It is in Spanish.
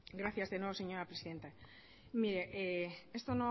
gracias de nuevo señora presidenta mire esto